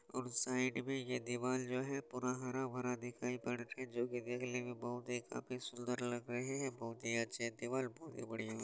और साइड में ये दीवाल जो है पूरा हरा-भरा दिखाई पड़ रहा है जो कि देखने में बहोत ही काफी सुंदर लग रहे हैं बहोत ही अच्छे दीवाल बहोत ही बढ़िया --